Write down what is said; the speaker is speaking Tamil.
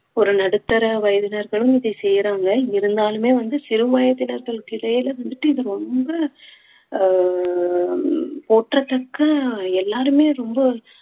ஒரு நடுத்தர வயதினர்களும் இதை செய்யறாங்க இருந்தாலுமே வந்து சிறு வயதினற்கள்கிடையே வந்துட்டு இது ரொம்ப அஹ் போற்றுறதுக்க எல்லாருமே ரொம்ப